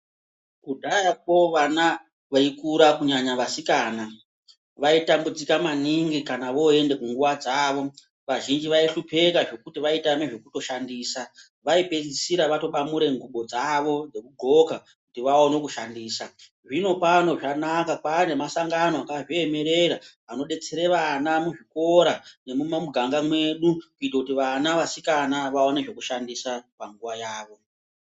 Kudhayako vana veikura kunyanya vasikana vaitambudzika maningi kana voenda kunguwa dzavo vazhinji vaihlupeka zvekuti vaitama zvekutoshandisa. Vaipedzisira vatobamura nguwa dzavo dzekudxoka kuti vaone kushandisa. Zvinopano zvanaka kwane masangano akazviemera anodetsera vana muzvikora nemumuganga mwedu kuite kuti vana vasikana vaone zvekushandisa panguwa yavo.